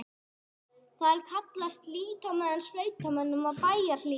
Þar hallaðist lítt á með sveitamönnum og bæjarlýðnum.